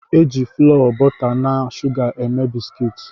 E jị FLọọ, bọta na shuga eme bisikiiti